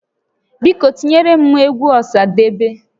Biko tinyere m egwu Ọsadebe